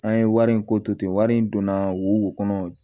An ye wari in ko to ten wari in donna wo kɔnɔ